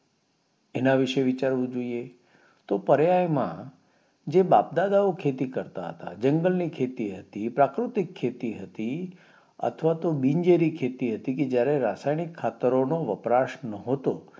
એના વિષે વિચારવું જોઈએ તો પર્યાય માં જે બાપ દાદાઓ ખેતી કરતા હતા જંગલ ની ખેતી હતી પ્રાકૃતિક ખેતી હતી થવાતો બીજ જેરી ખેતી હતી કે જયારે રાસાયાની ખાતરો નો છટકાવ નોટો